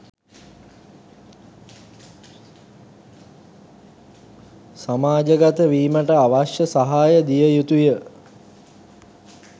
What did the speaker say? සමාජගත වීමට අවශ්‍ය සහාය දිය යුතු ය